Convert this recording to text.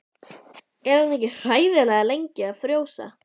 Er hann ekki hræðilega lengi að frjósa?